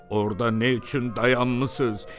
Orda nə üçün dayanmısız?